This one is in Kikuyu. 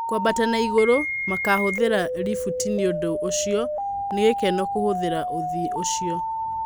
Kũabata na igurũ makavuthĩra livuti nĩ ũndũ ũcio, nĩgikeno kuvuthĩra ũthii ũcio